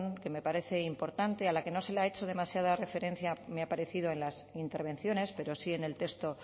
que me parece importante a la que no se le ha hecho demasiada referencia me ha parecido en las intervenciones pero sí en el texto